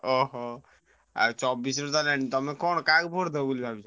ଓହୋ ଆଉ ଚବିଶ ରେ ତ ତମେ କଣ କାହାକୁ vote ଦବ ବୋଲି ଭାବିଛ?